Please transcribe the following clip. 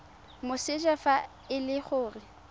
moseja fa e le gore